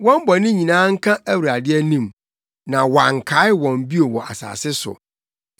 Wɔn bɔne nyinaa nka Awurade anim, na wɔankae wɔn bio wɔ asase so.